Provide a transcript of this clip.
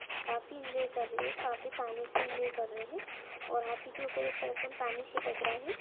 काफी ईन्जॉय कर रहे है वो और काफी पानी से ईन्जॉय कर रहे है और हाथी के ऊपर एक पर्सन पानी छिटक रहा है।